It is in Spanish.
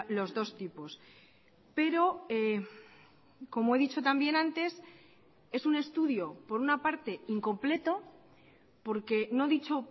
los dos tipos pero como he dicho también antes es un estudio por una parte incompleto porque no dicho